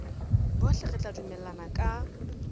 bohle re tla dumellana ka